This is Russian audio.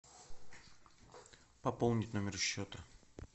пополнить номер счета